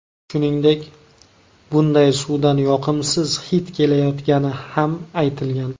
Shuningdek, bunday suvdan yoqimsiz hid kelayotgani ham aytilgan.